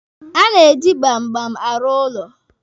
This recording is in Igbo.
A na-eji gbamgbam arụ ụlọ.